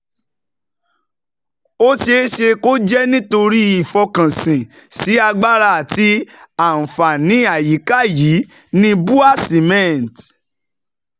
Ó ṣeé ṣe kó jẹ́ nítorí ìfọkànsìn sí agbára àti àǹfààní àyíká yìí ni BUA Cement